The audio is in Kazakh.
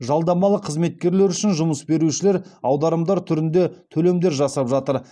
жалдамалы қызметкерлер үшін жұмыс берушілер аударымдар түрінде төлемдер жасап жатыр